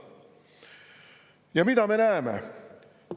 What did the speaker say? Ja mida me näeme?